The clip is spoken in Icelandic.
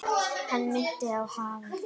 Hann minnti á hafið.